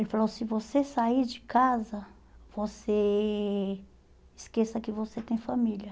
Ele falou, se você sair de casa, você esqueça que você tem família.